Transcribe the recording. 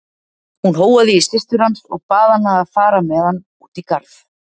Hún hóaði í systur hans og bað hana að fara með hann út í garð.